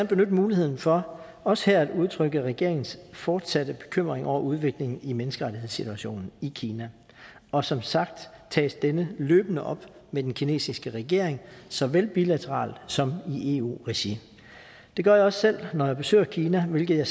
benytte muligheden for også her at udtrykke regeringens fortsatte bekymring over udviklingen i menneskerettighedssituationen i kina og som sagt tages denne løbende op med den kinesiske regering såvel bilateralt som i eu regi det gør jeg også selv når jeg besøger kina hvilket jeg